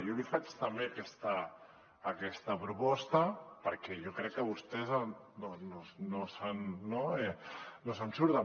jo li faig també aquesta proposta perquè jo crec que vostès no se’n surten